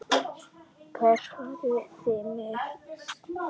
Hvert farið þið með mig?